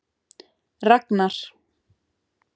Ragnar